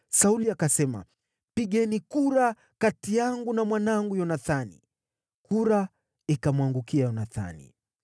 Sauli akasema, “Pigeni kura kati yangu na mwanangu Yonathani.” Kura ikamwangukia Yonathani.